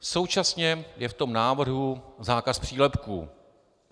Současně je v tom návrhu zákaz přílepků.